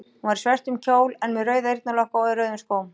Hún var í svörtum kjól en með rauða eyrnalokka og í rauðum skóm.